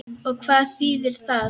Og hvað þýðir það?